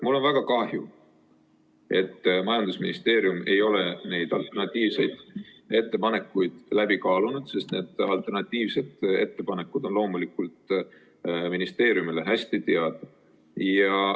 Mul on väga kahju, et majandusministeerium ei ole neid alternatiivseid ettepanekuid läbi kaalunud, sest need on loomulikult ministeeriumile hästi teada.